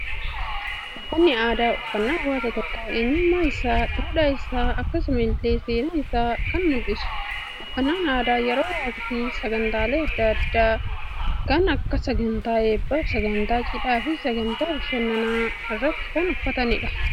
Uffannaan aadaa, uffannaa hawaasa tokko, eenyummaa isaa, duudhaa isaa akkasuma illee seenaa isaanii kan mul'isudha. Uffannaan aadaa yeroo waktii sagantaalee addaa addaa kan akka sagantaa eebbaaf, sagantaa cidhaa fi sagantaa bashannanaa irratti kan uffatamudha.